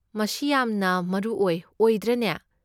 ꯃꯁꯤ ꯌꯥꯝꯅ ꯃꯔꯨ ꯑꯣꯏ, ꯑꯣꯏꯗ꯭ꯔꯅꯦ?